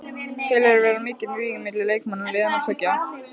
Telurðu vera mikinn ríg milli leikmanna liðanna tveggja?